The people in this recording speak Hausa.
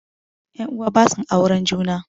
Ƴan uwa basu auren juna